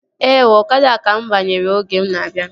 Ee ooo, ọkada ka mụ banyere oge m na-abịa